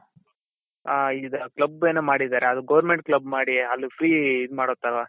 ಹ ಈಗ club ಏನೋ ಮಾಡಿದಾರೆ ಅದು government club ಮಾಡಿ ಅದ್ free ಇದ್ ಮಾಡೋ ತರ